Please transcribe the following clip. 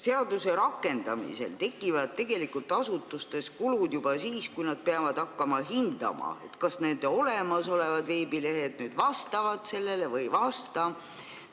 Seaduse rakendamisel tekivad asutustes kulud juba siis, kui nad peavad hakkama hindama, kas nende olemasolevad veebilehed vastavad selle nõuetele või ei vasta.